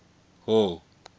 hall